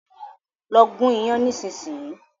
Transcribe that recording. Lọ gún iyán nísìsiyìí!